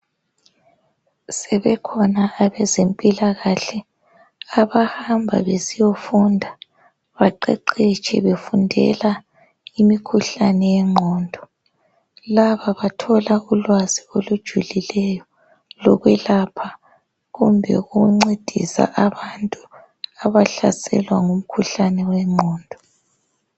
Sebekhona abaze mpilakahle abahamba besiyafunda baqeqetshe. befundela imikhuhlane yengqondo. Laba bathola ulwazi olujulileyo lokwelapha kumbe ukuncedisa abantu abahlaselwa ngumkhuhlane wengqondo.